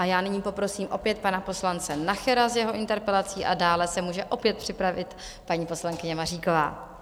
A já nyní poprosím opět pana poslance Nachera s jeho interpelací a dále se může opět připravit paní poslankyně Maříková.